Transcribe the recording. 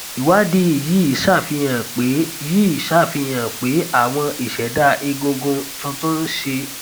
ìwádìí yìí ṣàfihàn pé yìí ṣàfihàn pé àwọn isẹda egungun tuntun ń ṣe